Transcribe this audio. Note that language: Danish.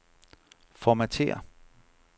Formatér.